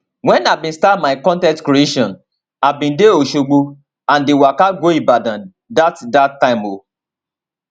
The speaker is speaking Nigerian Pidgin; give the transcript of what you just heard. wen i bin start my con ten t creation i bin dey osogbo and dey waka go ibadan dat dat time too